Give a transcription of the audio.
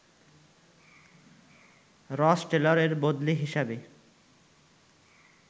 রস টেলরের বদলী হিসেবে